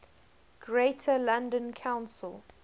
greater london council